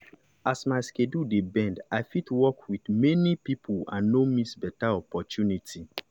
as my schedule dey bend i fit work with many people and no miss better opportunity.